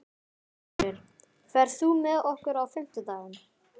Fenrir, ferð þú með okkur á fimmtudaginn?